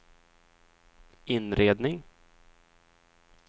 inredning